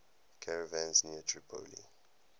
caravans near tripoli